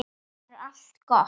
Þá verður allt gott.